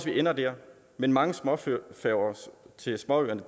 vi ender der men mange små færger til småøerne